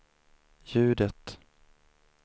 ljudet